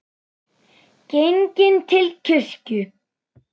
Genginn til kirkju.